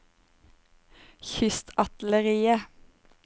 kystartilleriet